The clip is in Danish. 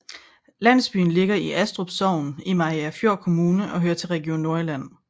Landsbyen ligger i Astrup Sogn i Mariagerfjord Kommune og hører til Region Nordjylland